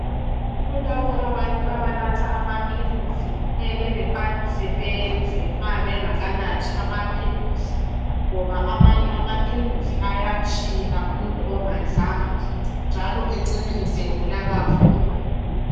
Kulabo abantu abanatha amaphilisi kumele baqalise bedle nxa bengakanathi amaphilisi ngoba amanye amaphilisi ayatshila umuntu ongadlanga njalo acine segula kakhulu.